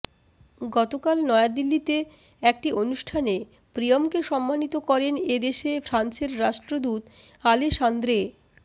গত কাল নয়াদিল্লিতে একটি অনুষ্ঠানে প্রিয়মকে সম্মানিত করেন এ দেশে ফ্রান্সের রাষ্ট্রদূত আলেসান্দ্রে